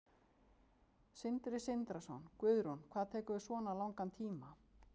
Sindri Sindrason: Guðrún, hvað tekur svona langan tíma?